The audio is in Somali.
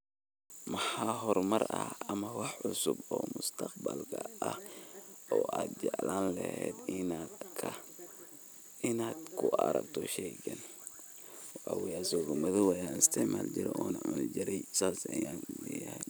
Maxaa horumar ah ama wax cusub oo mustaqbalka ah oo aad jeclaan lahayd inaad ku aragto sheygan waxawaye isigo madhow eh an istacmali jiri ona cuni jiri saas an uleyahaay.